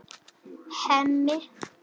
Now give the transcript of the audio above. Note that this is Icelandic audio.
Hemmi kinkar kolli.